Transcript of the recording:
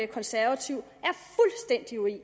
konservativ